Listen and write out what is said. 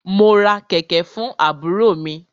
Mo ra kẹ̀kẹ̀ fún àbúrò mi.